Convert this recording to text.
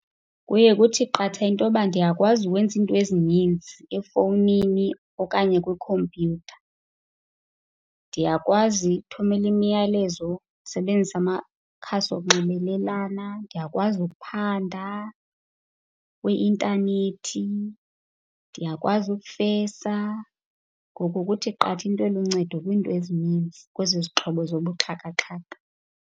Kuye kuthi qatha into yokuba ndiyakwazi ukwenza izinto ezininzi efowunini okanye kwikhompyutha. Ndiyakwazi ukuthumelela imiyalezo, ndisebenzise amakhasi wokunxibelelana, ndiyakwazi ukuphanda kwi-intanethi, ndiyakwazi ukufesa. Ngoku kuthi qatha into eluncedo kwiinto ezininzi kwezi zixhobo zobuxhakaxhaka.